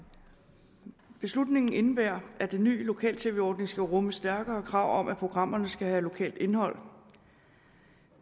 beslutningen indebærer at den nye lokal tv ordning skal rumme stærkere krav om at programmerne skal have lokalt indhold